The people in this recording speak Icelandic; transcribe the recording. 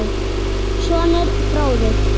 Sonur: Fróði.